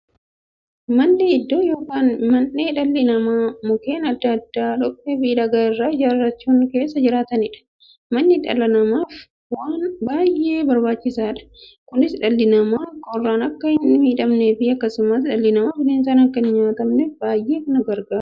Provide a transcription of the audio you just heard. Manni iddoo yookiin mandhee dhalli namaa Mukkeen adda addaa, dhoqqeefi dhagaa irraa ijaarachuun keessa jiraataniidha. Manni dhala namaaf waan baay'ee barbaachisaadha. Kunis, dhalli namaa qorraan akka hinmiidhamneefi akkasumas dhalli namaa bineensaan akka hinnyaatamneef baay'ee isaan gargaara.